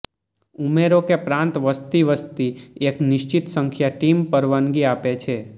ઉમેરો કે પ્રાંત વસ્તી વસ્તી એક નિશ્ચિત સંખ્યા ટીમ પરવાનગી આપે છે